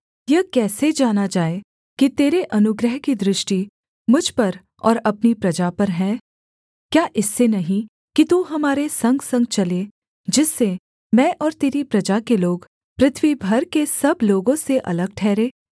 यह कैसे जाना जाए कि तेरे अनुग्रह की दृष्टि मुझ पर और अपनी प्रजा पर है क्या इससे नहीं कि तू हमारे संगसंग चले जिससे मैं और तेरी प्रजा के लोग पृथ्वी भर के सब लोगों से अलग ठहरें